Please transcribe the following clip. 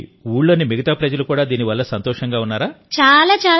మరి ఊళ్లోని మిగతా ప్రజలు కూడా దీనివల్ల సంతోషంగా ఉన్నారా